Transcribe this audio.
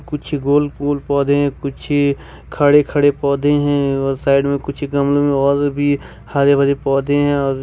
कुछ गोल गोल पौधे हैं कुछ खड़े खड़े पौधे हैं और साइड में कुछ गमलों में उर भी हरे भरे पौधे हैं।